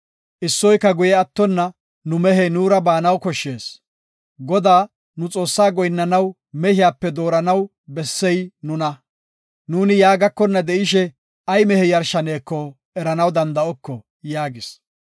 Issoyka guye attona nu mehey nuura baanaw koshshees. Godaa, nu Xoossaa goyinnanaw mehiyape dooranaw bessey nuna. Nuuni ya gakonna de7ishe ay mehe yarshaneko eranaw danda7oko” yaagis.